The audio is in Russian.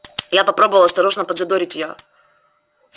я попробовал осторожно подзадорить её